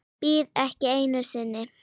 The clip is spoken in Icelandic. Bíð ekki einu sinni.